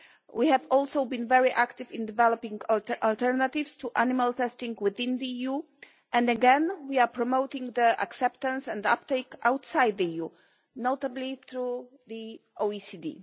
We have also been very active in developing alternatives to animal testing within the EU, and again we are promoting the acceptance and uptake outside the EU, notably through the OECD.